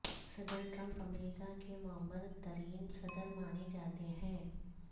صدر ٹرمپ امریکہ کے معمر ترین صدر مانے جاتے ہیں